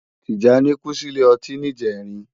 Tijani kú si ilé òtín nijèrín